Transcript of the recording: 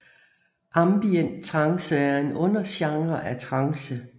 Ambient trance er en undergenre af trance